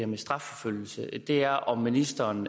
med strafforfølgelse er om ministeren